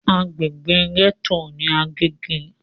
Agbègbè gẹ́tò ní Agége.